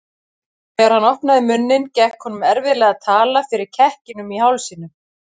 Þegar hann opnaði munninn gekk honum erfiðlega að tala fyrir kekkinum í hálsinum.